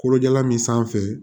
Kolojalan min sanfɛ